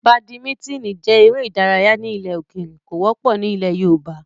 Badimítìnì jẹ́ eré ìdárayá ilẹ̀ òkèrè, kò wọ́pọ̀ ní ilẹ̀ yoòbá